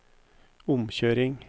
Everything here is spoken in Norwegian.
omkjøring